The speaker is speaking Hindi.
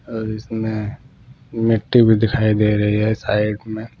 और इसमें मिट्टी भी दिखाई दे रही है साइड में।